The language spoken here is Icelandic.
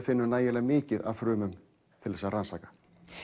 finnum nægilega mikið af frumum til að rannsaka